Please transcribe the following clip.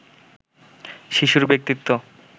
শিশুর ব্যক্তিত্ব